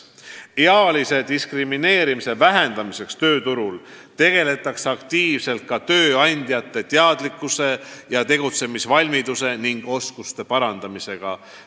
Ealise diskrimineerimise vähendamiseks tööturul tegeldakse aktiivselt ka tööandjate teadlikkuse ja tegutsemisvalmiduse ning -oskuste parandamisega.